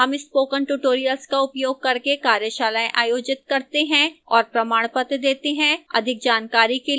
हम spoken tutorial का उपयोग करके कार्यशालाएँ आयोजित करते हैं और प्रमाणपत्र देती है अधिक जानकारी के लिए कृपया हमें लिखें